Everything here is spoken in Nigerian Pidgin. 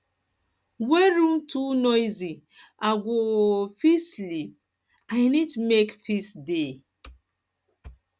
hen room too noisy i go um fit sleep i need make peace dey